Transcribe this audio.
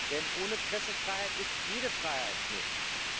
Denn ohne Pressefreiheit ist jede Freiheit nichts.